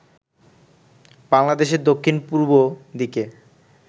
বাংলাদেশের দক্ষিণ-পূর্ব দিকে